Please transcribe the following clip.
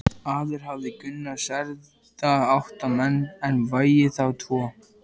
Áður hafði Gunnar særða átta menn en vegið þá tvo.